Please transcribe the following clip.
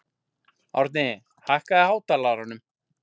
Árni, hækkaðu í hátalaranum.